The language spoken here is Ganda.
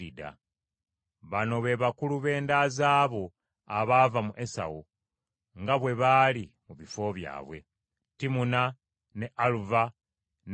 Bano be bakulu b’enda zaabo abaava mu Esawu, nga bwe baali mu bifo byabwe: Timuna, ne Aluva, ne Yesesi,